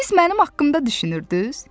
Siz mənim haqqımda düşünürdünüz?